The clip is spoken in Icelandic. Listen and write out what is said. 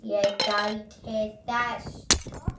Ég gæti þess.